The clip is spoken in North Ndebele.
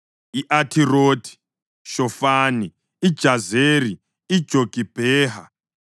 i-Athirothi-Shofani, iJazeri, iJogibheha,